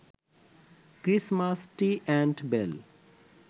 Christmas tree and bell